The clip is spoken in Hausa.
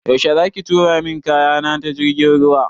Yaushe za ki tura min kaya na ta jirgin ruwa?